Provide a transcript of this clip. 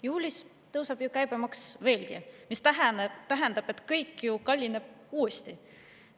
Juulis tõuseb käibemaks veelgi, mis tähendab seda, et kõik kallineb uuesti.